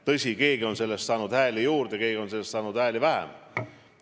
Tõsi, keegi on selle abil saanud hääli juurde, aga keegi jälle on selle tõttu saanud hääli vähem.